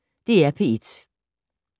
DR P1